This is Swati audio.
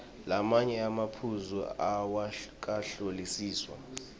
lamanye emaphuzu awakahlolisiswa